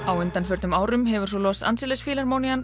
á undanförnum árum hefur Los Angeles